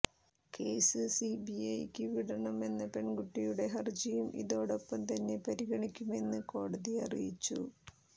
case C B ഐക്ക് വിടണം എന്ന പെണ്കുട്ടിയുടെ ഹരജിയും ഇതോടൊപ്പം തന്നെ പരിഗണിക്കുമെന്ന് കോടതി അറിയിച്ചു